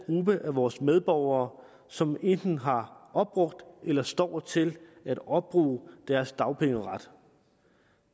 gruppe af vores medborgere som enten har opbrugt eller står til at opbruge deres dagpengeret